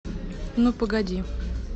ну погоди